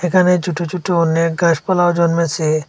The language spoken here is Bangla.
এখানে ছোট ছোট অনেক গাছপালা জন্মেছে।